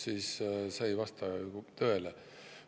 Nii et see ei vasta ju tõele.